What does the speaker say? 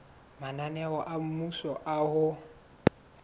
mananeo a mmuso a ho